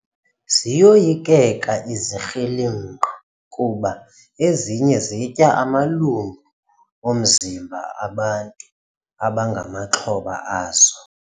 Ziyoyikeka izikrelemnqa kuba ezinye zitya amalungu omzimba bantu abangamaxhoba azo.